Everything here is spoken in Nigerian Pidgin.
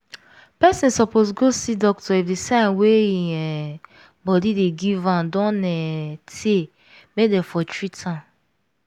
person suppose go see doctor if the sign wey im um body dey give am don um tey make dem for treat am